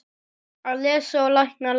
Að lesa og lækna landið.